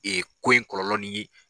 ko in kɔlɔlɔn ni.